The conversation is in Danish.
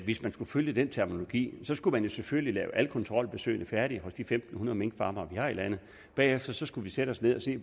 hvis man skulle følge den terminologi skulle man selvfølgelig lave alle kontrolbesøgene færdige hos de fem hundrede minkfarmere vi har i landet og bagefter skulle vi sætte os ned og se